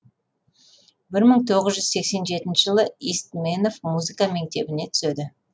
бір мың тоғыз жүз сексен жетінші жылы истменов музыка мектебіне түседі